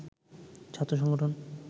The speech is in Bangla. ছাত্র সংগঠন